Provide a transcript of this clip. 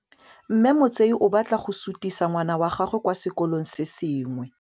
Mme Motsei o batla go sutisa ngwana wa gagwe kwa sekolong se sengwe.